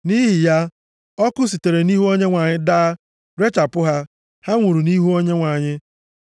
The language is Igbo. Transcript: Nʼihi ya, ọkụ sitere nʼihu Onyenwe anyị daa rechapụ ha, ha nwụrụ nʼihu Onyenwe anyị.